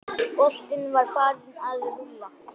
Boltinn var farinn að rúlla.